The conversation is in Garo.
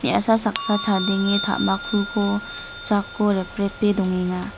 me·asa saksa chadenge ta·makkuko jako reprepe dongenga.